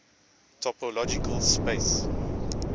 topological space